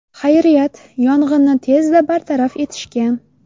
Xayriyat, yong‘inni tezda bartaraf etishgan.